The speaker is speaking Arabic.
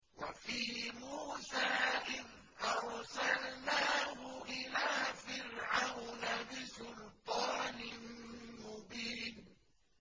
وَفِي مُوسَىٰ إِذْ أَرْسَلْنَاهُ إِلَىٰ فِرْعَوْنَ بِسُلْطَانٍ مُّبِينٍ